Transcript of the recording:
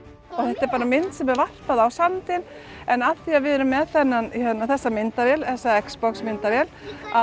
þetta er mynd sem er varpað á sandinn en af því að við erum með þessa myndavél þessa myndavél